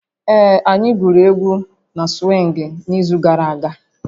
Ee, anyị gwuru égwu na swịngị n'izu gara aga